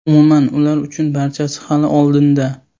Umuman ular uchun barchasi hali oldinda.